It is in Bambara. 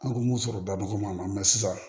An ko sɔrɔ da nɔgɔman mɛ sisan